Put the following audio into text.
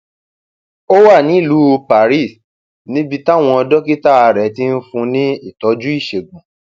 ó wà nílùú paris níbi táwọn dókítà rẹ ti ń fún un ní ìtọjú ìṣègùn